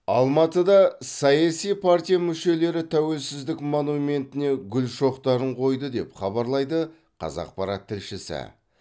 алматыда саяси партия мүшелері тәуелсіздік монументіне гүл шоқтарын қойды деп хабарлайды қазақпарат тілшісі